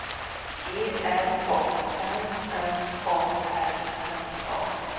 G R A N N A R N A